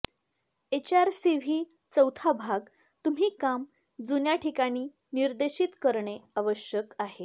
HR CV चौथा भाग तुम्ही काम जुन्या ठिकाणी निर्देशीत करणे आवश्यक आहे